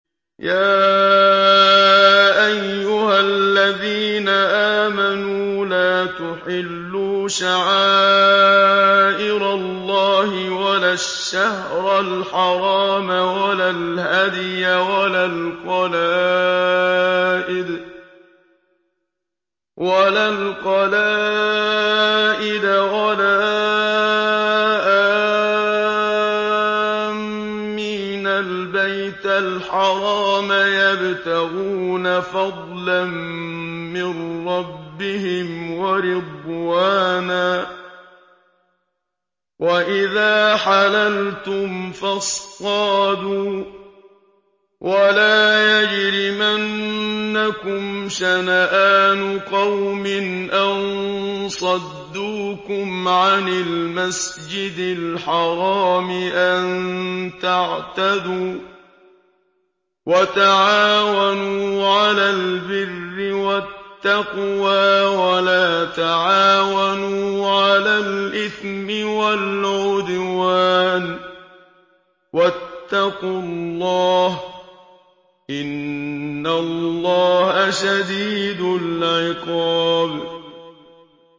يَا أَيُّهَا الَّذِينَ آمَنُوا لَا تُحِلُّوا شَعَائِرَ اللَّهِ وَلَا الشَّهْرَ الْحَرَامَ وَلَا الْهَدْيَ وَلَا الْقَلَائِدَ وَلَا آمِّينَ الْبَيْتَ الْحَرَامَ يَبْتَغُونَ فَضْلًا مِّن رَّبِّهِمْ وَرِضْوَانًا ۚ وَإِذَا حَلَلْتُمْ فَاصْطَادُوا ۚ وَلَا يَجْرِمَنَّكُمْ شَنَآنُ قَوْمٍ أَن صَدُّوكُمْ عَنِ الْمَسْجِدِ الْحَرَامِ أَن تَعْتَدُوا ۘ وَتَعَاوَنُوا عَلَى الْبِرِّ وَالتَّقْوَىٰ ۖ وَلَا تَعَاوَنُوا عَلَى الْإِثْمِ وَالْعُدْوَانِ ۚ وَاتَّقُوا اللَّهَ ۖ إِنَّ اللَّهَ شَدِيدُ الْعِقَابِ